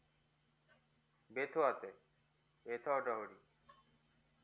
এত আছে এতো